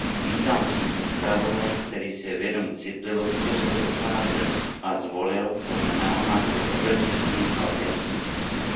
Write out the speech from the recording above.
Vítám přístup zpravodaje, který si je vědom citlivosti řady otázek a zvolil, podle mého názoru, obezřetný, ale jasný přístup.